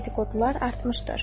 Dediqodular artmışdır.